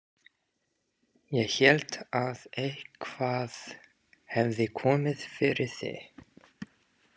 Ég hélt að eitthvað hefði komið fyrir þig